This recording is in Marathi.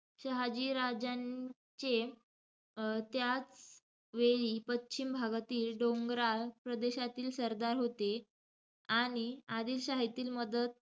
शहाजीराजांचे त्याचवेळी पश्चिम भागातील डोंगराळ प्रदेशातील सरदार होते. आणि आदिलशाहीतील मदत,